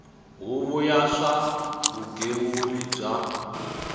huvo ya swa vugembuli bya